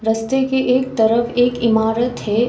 रास्ते के एक तरफ एक इमारत है।